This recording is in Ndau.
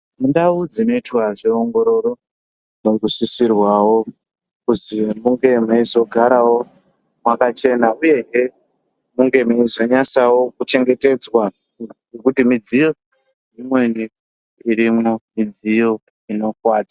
Mundau dzinoitwa zveongororo makusisirwawo kuti munge meizogarawo mwakachena uyezve munge meizonyasawo kuchengetedzwa ngekuti midziyo imweni irimo midziyo inokuwadza.